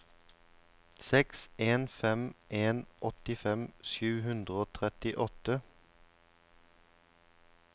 seks en fem en åttifem sju hundre og trettiåtte